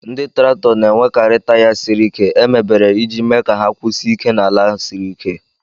Ndị traktọ na-enwekarị taya siri ike emebere iji mee ka ha kwụsi ike na ala siri ike